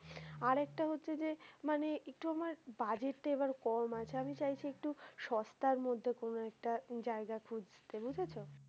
আর একটা হচ্ছে যে মানে একটু আমার বাজেটটা এবার কম আছে আমি চাইছি একটু সস্তার মধ্যে কোনো একটা জায়গা খুজছি বুঝেছো।